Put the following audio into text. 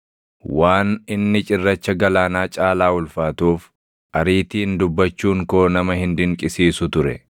Waan inni cirracha galaanaa caalaa ulfaatuuf, ariitiin dubbachuun koo nama hin dinqisiisu ture.